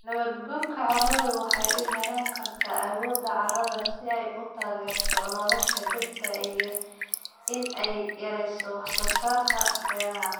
Nabaad guurka carradu waxa uu yarayn karaa awoodda carrada si ay u taageerto nolosha dhirta iyo in ay yarayso wax-soo-saarka beeraha.